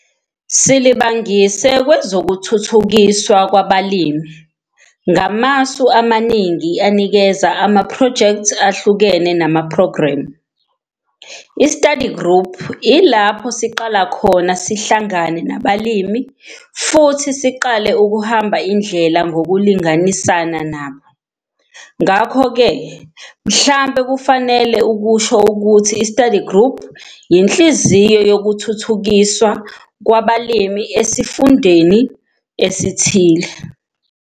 Silibangise kwezokuthuthukiswa kwabalimi ngamasu amaningi anikeza amaphrojekthi ahlukene namaphrogremu. I-study group yilapho siqala khona sihlangane nabalimi futhi siqale ukuhamba indlela ngokulinganisana nabo. Ngakho ke, mhlambe kufanele ukusho ukuthi i-study group yinhliziyo yokuthuthukiswa kwabalimi esifundeni esithile.